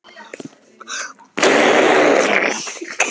Sigurdís, hvar er dótið mitt?